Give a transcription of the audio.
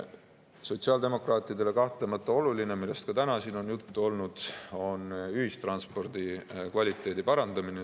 Sotsiaaldemokraatidele on kahtlemata oluline, millest ka täna siin on juttu olnud, ühistranspordi kvaliteedi parandamine.